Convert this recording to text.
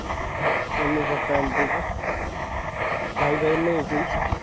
mummy papa आणि तू का भाई बहीण नाहीये कोणी